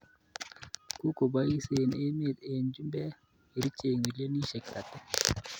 Kokobeseen emet ab chumbek kerchek milionisiek 30.